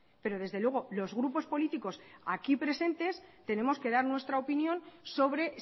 pero desde luego los grupos políticos aquí presentes tenemos que dar nuestra opinión sobre